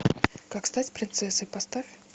как стать принцессой поставь